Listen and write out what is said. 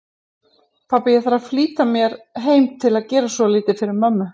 Pabbi, ég þarf að flýta mér heim til að gera svolítið fyrir mömmu